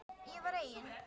Ég var eigin